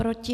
Proti?